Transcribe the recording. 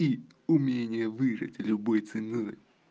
и умение выжить любой ценой